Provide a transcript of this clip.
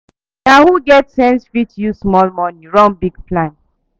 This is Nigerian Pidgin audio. Na who get sense fit use small money run big plan.